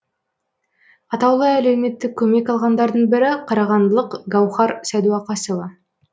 атаулы әлеуметтік көмек алғандардың бірі қарағандылық гауһар сәдуақасова